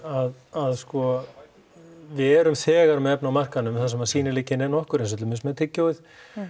að sko við erum þegar með efni á markaðnum þar sem að sýnileikinn er nokkur eins og til dæmis með tyggjóið